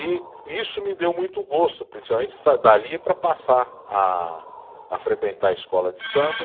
E isso me deu muito gosto, principalmente dali para passar a a frequentar a escola de samba.